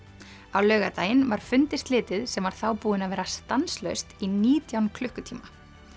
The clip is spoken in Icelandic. á laugardaginn var fundi slitið sem var þá búinn að vera stanslaust í nítján klukkutíma